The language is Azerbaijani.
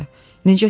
Necəsən?